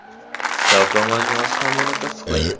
Savdo majmuasi ham buni tasdiqlagan.